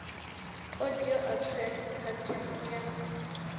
audi alteram partem u ya